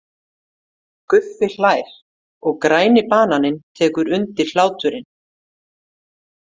Guffi hlær og Græni bananinn tekur undir hláturinn.